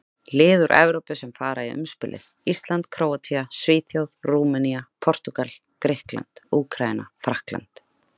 Lið úr Evrópu sem fara í umspilið: Ísland, Króatía, Svíþjóð, Rúmenía, Portúgal, Grikkland, Úkraína, Frakkland.